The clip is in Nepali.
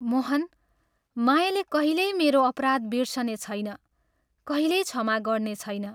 मोहन, मायाले कहिल्यै मेरो अपराध बिर्सनेछैन, कहिल्यै क्षमा गर्नेछैन।